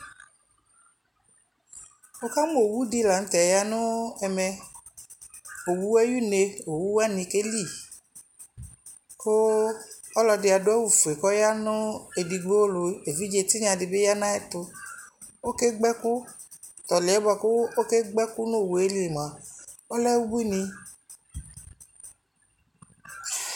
wʋkamʋ ɔwʋ di lantɛ yanʋ ɛmɛ, ɔwʋɛ ayi ʋnɛ, ɔwʋ wani kɛli kʋ ɔlɔdi adʋ awʋ ƒʋɛ kʋ ɔya nʋ ɛdigbɔ lʋ, ɛvidzɛ tinya dibi yanʋ ayɛtʋ, ɔkɛ gba ɛkʋ, tɔlʋɛ bʋakʋ ɔkɛ gba ɛkʋ nʋ ɔwʋɛli mʋa ɔlɛ ʋbʋini